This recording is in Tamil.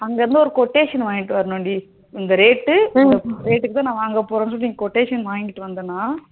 அங்க இருந்து ஒரு quotation வாங்கிட்டு வரணும் டி இந்த rate இந்த rate க்கு தான் நான் வாங்க போறேன்னு சொல்லி quotation வாங்கிட்டு வந்தனா